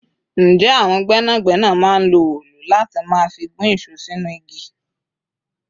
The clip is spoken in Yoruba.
Ǹjẹ́ àwọn gbẹ́nàgbẹ́nà máa ń lo òòlù láti máa fi gún ìṣó sínú igi?